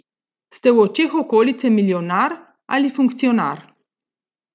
Ste v očeh okolice milijonar ali funkcionar?